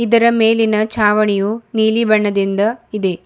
ಇದರ ಮೇಲಿನ ಚಾವಣಿಯು ನೀಲಿ ಬಣ್ಣದಿಂದ ಇದೆ.